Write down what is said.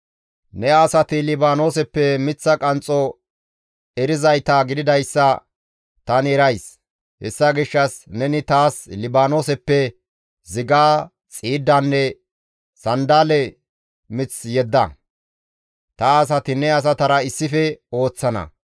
«Ne asati Libaanooseppe miththa qanxxo erizayta gididayssa tani erays; hessa gishshas neni taas Libaanooseppe ziga, xiiddanne sanddale mith yedda. Ta asati ne asatara issife ooththana.